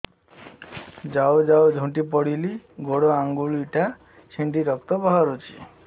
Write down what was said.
ଯାଉ ଯାଉ ଝୁଣ୍ଟି ପଡ଼ିଲି ଗୋଡ଼ ଆଂଗୁଳିଟା ଛିଣ୍ଡି ରକ୍ତ ବାହାରୁଚି